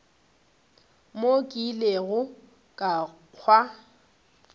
mo ke ilego ka kwa